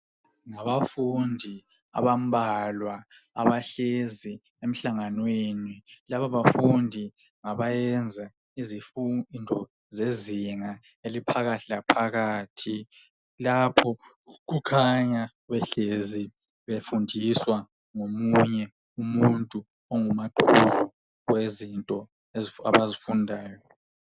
Ngabafundi abambalwa abahlezi emhlanganweni laba bafundi ngabayenza izifundo zezinga eliphakathi laphakathi lapha kukhanya behlezi befundiswa ngomunye umuntu ongumaqhuzu owezinto abazifundayo.